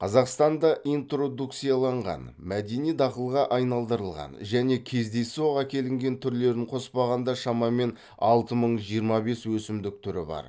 қазақстанда интродукцияланған мәдени дақылға айналдырылған және кездейсоқ әкелінген түрілерін қоспағанда шамамен алты мың жиырма бес өсімдік түрі бар